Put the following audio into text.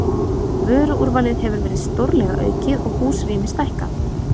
Vöruúrvalið hefur verið stórlega aukið og húsrými stækkað.